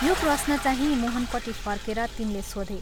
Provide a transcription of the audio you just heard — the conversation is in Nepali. यो प्रश्नचाहिं मोहनपट्टि फर्केर तिनले सोधे।